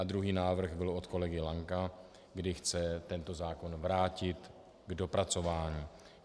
A druhý návrh byl od kolegy Lanka, kdy chce tento zákon vrátit k dopracování.